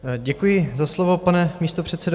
Děkuji za slovo, pane místopředsedo.